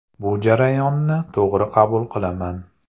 Bu jarayonni to‘g‘ri qabul qilaman.